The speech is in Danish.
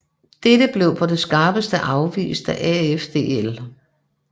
Dette blev på det skarpeste afvist af AFDL